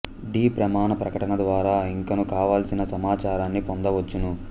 D ప్రమాణ ప్రకటన ద్వారా ఇంకను కావలసిన సమాచారాన్ని పొందవచ్చును